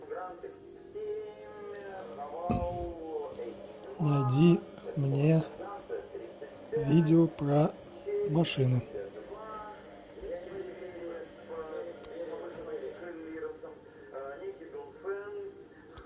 найди мне видео про машины